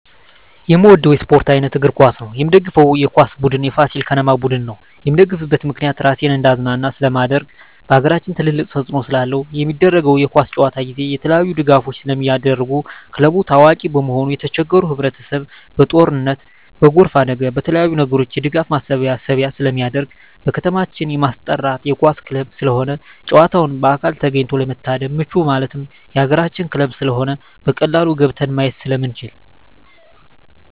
የምወደው የስፓርት አይነት እግር ኳስ ነው። የምደግፈው የኳስ ቡድን የፋሲል ከነማ ቡድን ነው። የምደግፍበት ምክንያት ራሴን እንዳዝናና ስለማደርግ በአገራችን ትልቅ ተፅዕኖ ስላለው። በሚደረገው የኳስ ጨዋታ ጊዜ የተለያዪ ድጋፎች ስለሚደረጉ ክለቡ ታዋቂ በመሆኑ የተቸገሩ ህብረቸሰብ በጦርነት በጎርፍ አደጋ በተለያዪ ነገሮች የድጋፍ ማሰባሰቢያ ስለሚደረግ። በከተማችን የማስጠራ የኳስ ክለብ ስለሆነ ጨዋታውን በአካል ተገኝቶ ለመታደም ምቹ ማለት የአገራችን ክለብ ስለሆነ በቀላሉ ገብተን ማየት ስለምንችል።